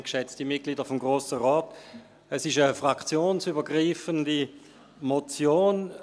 Es ist eine fraktionsübergreifende Motion.